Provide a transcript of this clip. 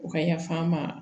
U ka yafa an ma